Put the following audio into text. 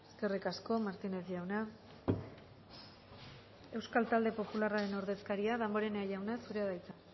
eskerrik asko martínez jauna euskal talde popularraren ordezkaria damborenea jauna zurea da hitza